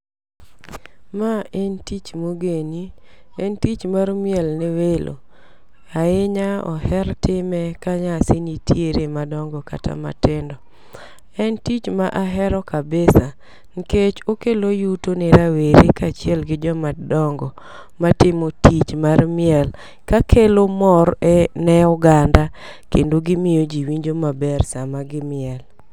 Ma en tich mogen. En tich mar miel ne welo. Ahinya oher time ka nyasi nitiere madongo kata matindo. En tich ma ahero kabisa nikech okelo yuto ni rawere kaachiel gi joma dongo matimo tich mar miel kakelo mor ne oganda kendo gimiyo ji winjo maber sama gimiel.